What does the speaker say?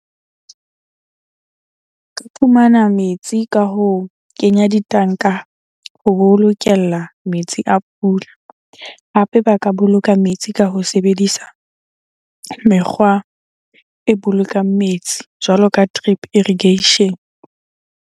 Ke fumana metsi ka ho kenya ditanka ho bolokella metsi a pula. Hape ba ka boloka metsi ka ho sebedisa mekgwa e bolokang metsi jwalo ka drip irrigation.